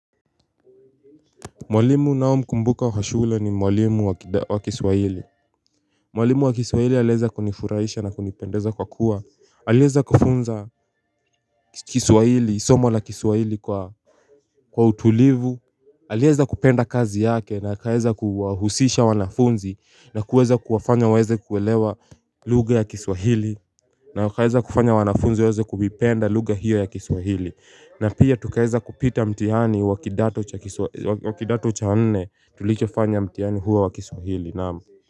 Mwalimu ninaomkumbuka kwa shule ni mwalimu wa kiswahili Mwalimu wa kiswahili aliweza kunifuraisha na kunipendeza kwa kuwa aliweza kufunza kiswahili, somo la kiswahili kwa kwa utulivu aliweza kupenda kazi yake na akaweza kuwahusisha wanafunzi na kuweza kuwafanya waeze kuelewa lugha ya kiswahili na wakaeza kufanya wanafunzi waeza kuvipenda lugha hiyo ya kiswahili. Na pia tukaweza kupita mtihani wa kidato cha kiswahili wa kidato cha nne tulichofanya mtihani huo wa kiswahili naam.